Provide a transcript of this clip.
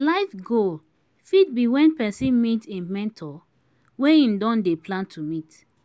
life goal fit be when person meet im mentor wey im don dey plan to meet